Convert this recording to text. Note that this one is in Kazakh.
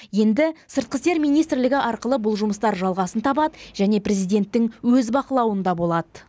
енді сыртқы істер министрлігі арқылы бұл жұмыстар жалғасын табады және президенттің өз бақылауында болады